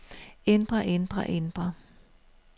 ændre ændre ændre